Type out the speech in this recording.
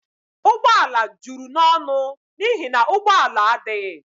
Ụgbọ ala juru n'ọnụ n'ihi na ụgbọ ala adịghị